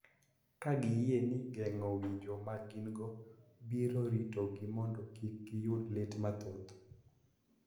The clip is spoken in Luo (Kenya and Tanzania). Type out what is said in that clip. Ka giyie ni geng�o winjo ma gin-go biro ritogi mondo kik giyud lit mathoth.